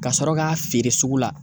Ka sɔrɔ k'a feere sugu la